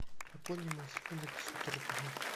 пополни мой телефон на пятьсот рублей